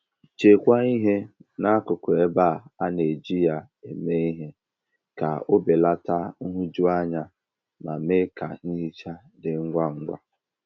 Chekwaa ihe n'akụkụ ebe a na - eji ya eme ihe ka o belata nhụjuanya ma mee ka nhicha dị ngwa ngwa.